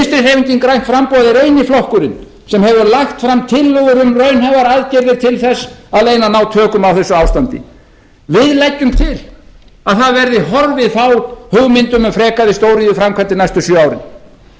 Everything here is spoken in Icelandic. hreyfingin grænt framboð er eini flokkurinn sem hefur lagt fram tillögur um raunhæfar aðgerðir til þess að reyna að ná tökum á þessu ástandi við leggjum til að það verði horfið frá hugmyndum um frekari stóriðjuframkvæmdir næstu sjö árin við leggjum til